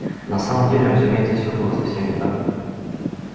на самом деле разумеется всё было совсем не так